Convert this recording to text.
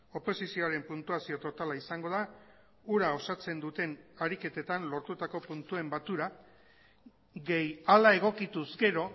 oposizioaren puntuazio totala izango da hura osatzen duten ariketetan lortutako puntuen batura gehi hala egokituz gero